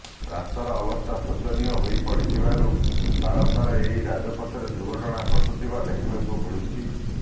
ରାସ୍ତାର ଅବସ୍ଥା ଶୋଚନୀୟ ହୋଇପଡିଥିବାରୁ ବାରମ୍ବାର ଏହି ରାଜପଥରେ ଦୁର୍ଘଟଣା ଘଟୁଥିବା ଦେଖିବାକୁ ମିଳୁଛି